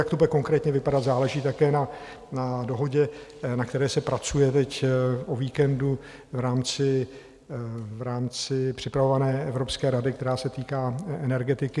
jak to bude konkrétně vypadat, záleží také na dohodě, na které se pracuje teď o víkendu v rámci připravované Evropské rady, která se týká energetiky.